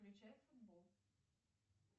включай футбол